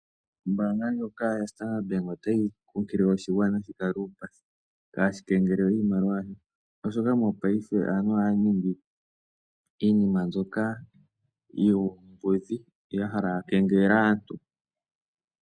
Ombaanga ndjoka yo Standard Bank otayi kunkilile oshigwana shi kale uupathi, opo kaashi kengelelwe iimaliwa yasho, oshoka mongaashingeyi aantu ohaya ningi iinima mbyoka yuumbudhi, ya hala ya kengelele aantu.